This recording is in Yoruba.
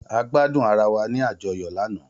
A gbadun ara wa ni ajọyọ lana